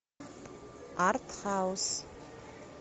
артхаус